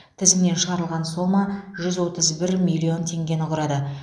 тізімнен шығарылған сома жүз отыз бір миллион теңгені құрады